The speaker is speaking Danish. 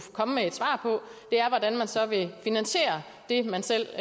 komme med et svar på hvordan man så vil finansiere det man selv